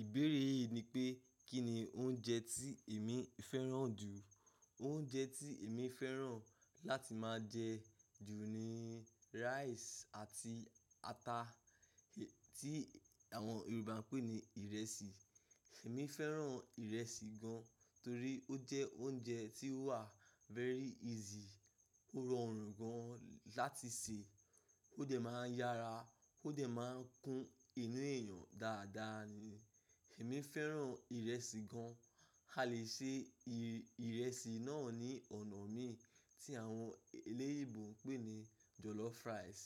Ìbéèrè yìí ni pé, kí ni oúnjẹ tí èmi fẹ́ràn jù? Oúnjẹ tí èmi fẹ́ràn láti máa jẹ jù ni rice àti ata, tí àwọn Yorùbá ń pè ní ìrẹsì. Èmi fẹ́ràn ìrẹsì gan, torí ó jẹ́ oúnjẹ tí ó wà very easy, ó rọrùn gan láti sè, ó dẹ̀ máa ń yára, ó dẹ̀ máa ń kún inú èèyàn dáadáa ni. Èmi fẹ́ràn ìrẹsì gan. A lè ṣe ìrẹsì náà ní ònà mí tí àwọn eléyinbo ń pè ní jollof rice